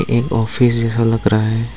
एक ऑफिस जैसा लग रहा है।